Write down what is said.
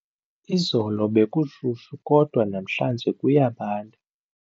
Izolo bekushushu kodwa namhlanje kuyabanda.